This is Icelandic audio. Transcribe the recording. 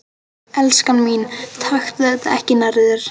Elskan mín, taktu þetta ekki nærri þér.